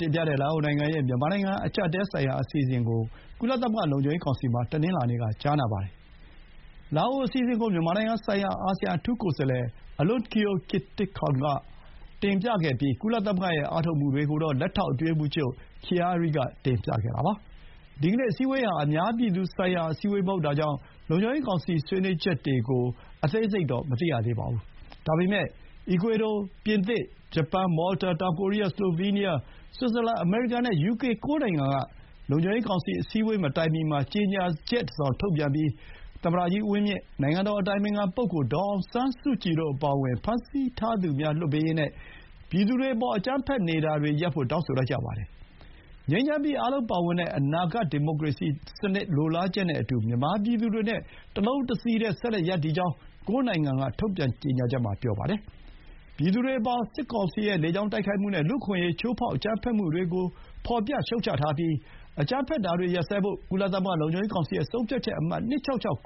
တင်ပြတဲ့ လာအိုနိုင်ငံရဲ့ မြန်မာ့အကျပ်အတည်းဆိုင်ရာ အစီအစဥ်ကို ကုလသမဂ္ဂ လုံခြုံရေးကောင်စီမှာ တနင်္လာနေ့က ကြားနာပါတယ်။ လာအိုအစီအစဥ်ကို မြန်မာနိုင်ငံဆိုင်ရာ အာဆီယံ အထူးကိုယ်စားလှယ် အလွန်ကီအို ကစ်တစ်ခေါင်း Alounkeo Kittikhoun က တင်ပြပြီး၊ ကုလသမဂ္ဂရဲ့ အားထုတ်မှုတွေ ကို လက်ထောက် အတွင်းရေးမှူးချုပ် Khiari က တင်ပြပါတယ်။ ဒီကနေ့ အစည်းအဝေးဟာ အများပြည်သူဆိုင်ရာ အစည်းအဝေးမဟုတ်တာကြောင့် လုံခြုံရေးကောင်စီအတွင်း ဆွေးနွေးချက်တွေကို ခု သတင်းကြေညာချိန်အထိ မသိရသေးပါဘူး။ ဒါပေမဲ့ အီကွေဒို၊ ပြင်သစ်၊ ဂျပန်၊ မော်လတာ၊ တောင်ကိုရီးယား၊ စလိုဗီးနီးယား၊ ဆွစ်ဇာလန်၊ အမေရိကန်နဲ့ ယူကေ ၉ နိုင်ငံက လုံခြုံရေးကောင်စီ အစည်းအဝေးမတိုင်မီမှာ ကျေညာချက် တစ်စောင် ထုတ်ပြန်ပြီး၊ သမ္မတကြီး ဦးဝင်းမြင့် ၊ နိုင်ငံတော် အတိုင်ပင်ခံ ပုဂ္ဂိုလ် ဒေါ်အောင်ဆန်းစုကြည်တို့ အပါအဝင် ဖမ်းဆီးထားသူများ လွှတ်ပေးရေး နဲ့ ပြည်သူတွေအပေါ် အကြမ်းဖက်နေတာတွေ ရပ်ဖို့ တောင်းဆိုလိုက်ကြပါတယ်။ ငြိမ်းချမ်းပြီး၊ အားလုံးပါဝင်တဲ့ အနာဂတ် ဒီမိုကရေစီစနစ် လိုလားချက်နဲ့အတူ မြန်မာပြည်သူတွေနဲ့ တလုံးတစည်းတည်း ဆက်လက် ရပ်တည်ကြောင်း ၉ နိုင်ငံ ထုတ်ပြန်ချက်က ပြောပါတယ်။ ပြည်သူတွေအပေါ် စစ်ကောင်စီရဲ့ လေကြောင်းတိုက်ခိုက်မှုနဲ့ လူ့အခွင့်အရေး ချိုးဖောက် အကြမ်းဖက်မှုတွေကို ဖော်ပြ ရှုတ်ချထားပြီး၊ အကြမ်းဖက်တာတွေ ရပ်စဲဖို့၊ ကုလ လုံခြုံရေးကောင်စီရဲ့ ဆုံးဖြတ်ချက်အမှတ် ၂၆၆